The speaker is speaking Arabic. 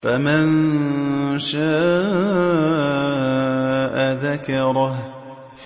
فَمَن شَاءَ ذَكَرَهُ